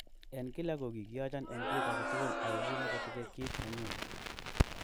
En kila ko kigiyochon en kit age tugul ago kimotiche kit ne nenyun.